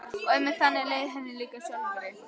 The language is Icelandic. Og einmitt þannig leið henni líka sjálfri.